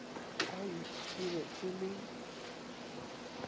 ai e be e le